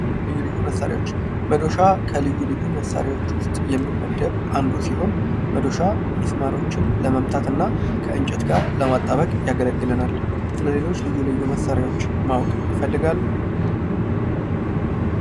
ልዩ ልዩ መሳሪያዎች መዶሻ ከልዩ ልዩ መሳሪያዎች ውስጥ የሚመደብ አንዱ ሲሆን መዶሻ ሚስማሮችን ለመምታትና ከእንጨት ጋር ለማጣበቅ ያገለግለናል። ስለሌሎች ልዩ ልዩ መሣሪያዎች ማወቅ ይፈልጋሉ?